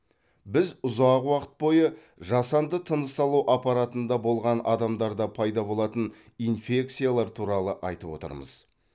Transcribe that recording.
біз ұзақ уақыт бойы жасанды тыныс алу аппаратында болған адамдарда пайда болатын инфекциялар туралы айтып отырмыз